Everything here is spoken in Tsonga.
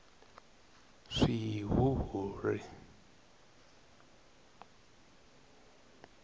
swihuhuri